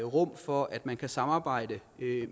rum for at man kan samarbejde